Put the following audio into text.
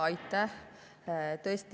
Aitäh!